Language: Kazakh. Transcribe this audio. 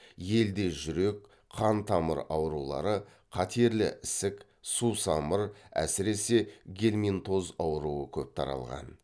елде жүрек қан тамыр аурулары қатерлі ісік сусамыр әсірисе гельминтоз ауруы көп таралған